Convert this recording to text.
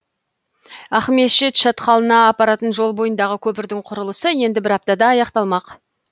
ақмешіт шатқалына апаратын жол бойындағы көпірдің құрылысы енді бір аптада аяқталмақ